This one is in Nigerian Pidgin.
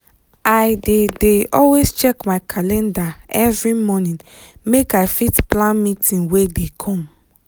i dey dey always check my calendar every morning make i fit plan meeting wey dey come.